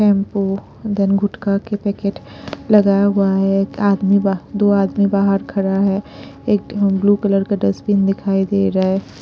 Shampoo दम गुटका के पैकेट लगाया हुआ है आदमी दो आदमी बाहर खड़ा है एक ब्लू कलर का डस्टबिन दिखाई दे रहा है।